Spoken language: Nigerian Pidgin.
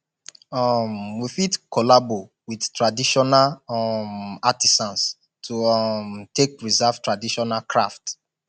um we fit collabo with traditional um artisans to um take preserve traditional craft